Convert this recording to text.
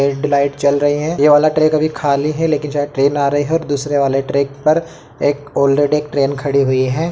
चल रही है ये वाला ट्रैक अभी खाली है लेकिन शायद ट्रेन आ रही है और दूसरे वाले ट्रैक पर ऑरेडी एक ट्रेन खड़ी हुई है |